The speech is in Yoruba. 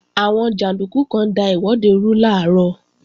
Àwọn jàndúkú kan da ìwọ́de rú làárọ̀